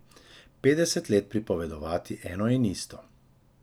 Petdeset let pripovedovati eno in isto.